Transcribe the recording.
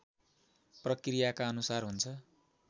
प्रक्रियाका अनुसार हुन्छ